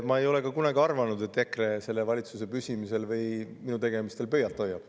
Ma ei ole ka kunagi arvanud, et EKRE selle valitsuse püsimisele või minu tegemistele pöialt hoiab.